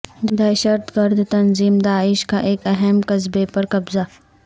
دہشت گرد تنظیم داعش کا ایک اہم قصبے پر قبضہ